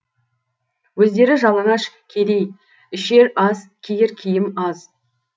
өздері жалаңаш кедей ішер ас киер киім аз